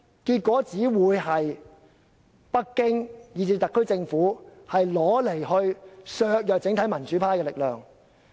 結果只會是北京以至特區政府得以削弱民主派的力量。